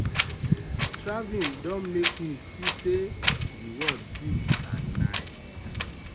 traveling don make me see say the world big and nice